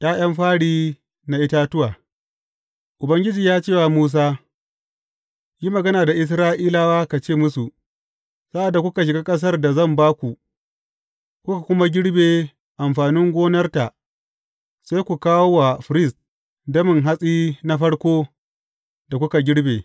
’Ya’yan fari na itatuwa Ubangiji ya ce wa Musa, Yi magana da Isra’ilawa, ka ce musu, Sa’ad da kuka shiga ƙasar da zan ba ku, kuka kuma girbe amfanin gonarta, sai ku kawo wa firist damin hatsi na farko da kuka girbe.